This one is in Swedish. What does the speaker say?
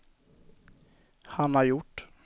Hanna Hjort